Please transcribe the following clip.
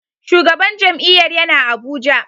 Shugaban jam'iyyar yana Abuja.